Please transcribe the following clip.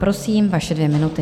Prosím, vaše dvě minuty.